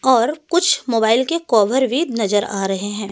और कुछ मोबाइल के कवर भी नजर आ रहे हैं।